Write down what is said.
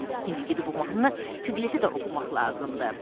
İndi gedib bu mahnını Piqletə də oxumaq lazımdır.